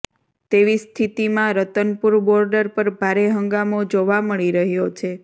તેવી સ્થિતિમાં રતનપુર બોર્ડર પર ભારે હંગામો જોવા મળી રહ્યો છે